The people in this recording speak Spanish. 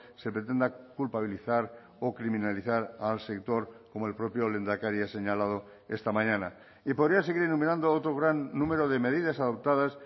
se pretenda culpabilizar o criminalizar al sector como el propio lehendakari ha señalado esta mañana y podría seguir enumerando otro gran número de medidas adoptadas